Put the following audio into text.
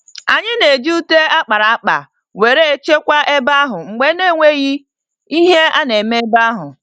Anyị na-eji ute akpara akpa wéré chekwa ebe ahụ mgbe ọ nenweghi ihe a némè' ebe ahụ